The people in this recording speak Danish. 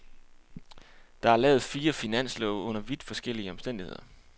Der er lavet fire finanslove under vidt forskellige omstændigheder.